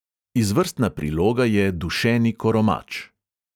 Izvrstna priloga je dušeni koromač.